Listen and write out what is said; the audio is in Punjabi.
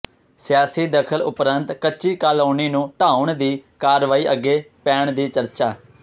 ਸਿਆਸੀ ਦਖ਼ਲ ਉਪਰੰਤ ਕੱਚੀ ਕਾਲੋਨੀ ਨੂੰ ਢਾਹੁੁਣ ਦੀ ਕਾਰਵਾਈ ਅੱਗੇ ਪੈਣ ਦੀ ਚਰਚਾ